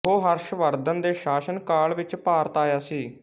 ਉਹ ਹਰਸ਼ਵਰਧਨ ਦੇ ਸ਼ਾਸਨ ਕਾਲ ਵਿੱਚ ਭਾਰਤ ਆਇਆ ਸੀ